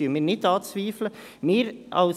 dies zweifeln wir nicht an.